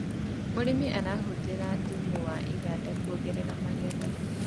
mũrĩmi arahuthira thumu wa iwanda kuongerera magetha